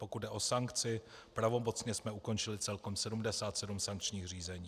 Pokud jde o sankci, pravomocně jsme ukončili celkem 77 sankčních řízení.